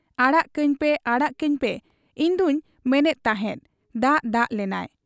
ᱟᱲᱟᱜ ᱠᱟᱹᱧ ᱯᱮ ᱟᱲᱟᱜ ᱠᱟᱹᱧᱯᱮ ᱤᱧᱫᱚᱧ ᱢᱮᱱᱮᱜ ᱛᱟᱦᱮᱸᱫ ᱾ ᱫᱟᱜ ᱫᱟᱜ ᱞᱮᱱᱟᱭ ᱾